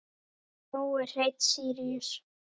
Nói Hreinn Síríus.